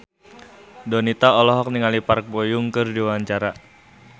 Donita olohok ningali Park Bo Yung keur diwawancara